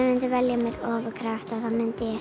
myndi velja mér ofurkrafta þá myndi